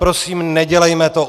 Prosím, nedělejme to.